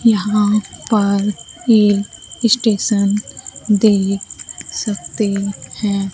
यहां पर एक स्टेशन देख सकते हैं।